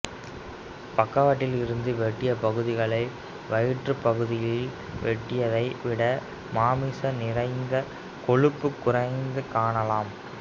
பக்கவாட்டில் இருந்து வெட்டிய பகுதிகளில் வயிற்றுப் பகுதியில் வெட்டியதை விட மாமிசம் நிறைந்தும் கொழுப்பு குறைந்தும் காணலாம்